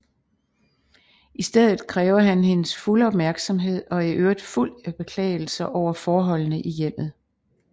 I stedet kræver han hendes fulde opmærksomhed og er i øvrigt fuld af beklagelser over forholdene i hjemmet